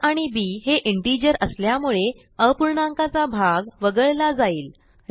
आ आणि बी हे इंटिजर असल्यामुळे अपूर्णांकाचा भाग वगळला जाईल